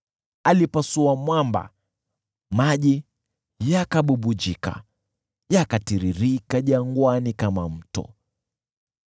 Alipasua mwamba, maji yakabubujika, yakatiririka jangwani kama mto.